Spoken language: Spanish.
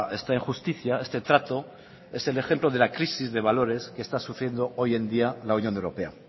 esta injusticia este trato es el ejemplo de la crisis de valores que está sufriendo hoy en día la unión europea